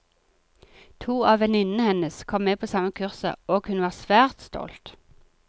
To av venninnene hennes kom med på samme kurset, og hun var svært stolt.